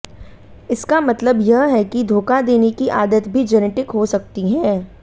इसका मतलब यह है कि धोखा देने की आदत भी जेनेटिक हो सकती है